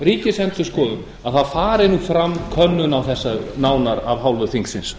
ríkisendurskoðun að það fari fram könnun á þessu nánar af hálfu þingsins